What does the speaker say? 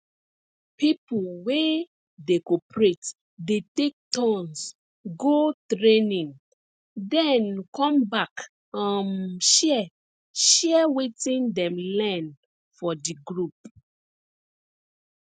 people wey dey cooperate dey take turns go training den come back um share share wetin dem learn for di group